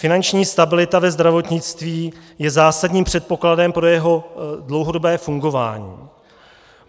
Finanční stabilita ve zdravotnictví je zásadním předpokladem pro jeho dlouhodobé fungování.